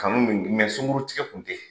Kanu min sunguru tigɛ kun tɛ.